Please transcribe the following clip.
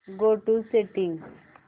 go to settings